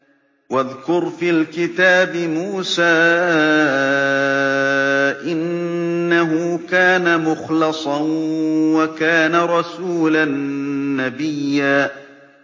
وَاذْكُرْ فِي الْكِتَابِ مُوسَىٰ ۚ إِنَّهُ كَانَ مُخْلَصًا وَكَانَ رَسُولًا نَّبِيًّا